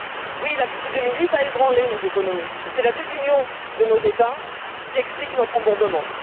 Oui, la crise de 2008 a ébranlé nos économies, mais c'est la désunion de nos États qui explique notre embourbement.